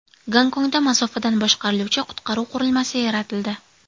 Gonkongda masofadan boshqariluvchi qutqaruv qurilmasi yaratildi .